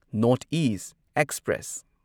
north east express